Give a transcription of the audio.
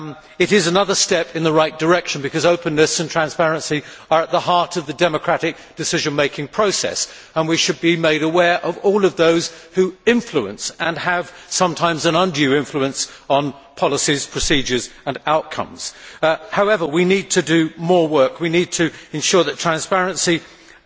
It is another step in the right direction because openness and transparency are at the heart of the democratic decision making process and we should be made aware of all of those who influence and sometimes have an undue influence on policy, procedures and outcomes. However, we need to do more work, we need to ensure that the transparency and